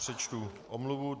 Přečtu omluvu.